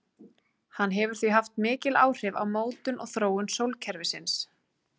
Hann hefur því haft mikil áhrif á mótun og þróun sólkerfisins.